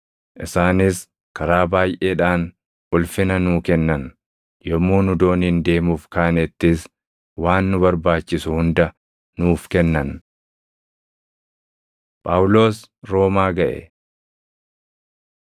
Isaanis karaa baayʼeedhaan ulfina nuu kennan; yommuu nu dooniin deemuuf kaanettis waan nu barbaachisu hunda nuuf kennan. Phaawulos Roomaa Gaʼe